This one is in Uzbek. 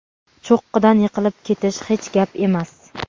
cho‘qqidan yiqilib ketish hech gap emas.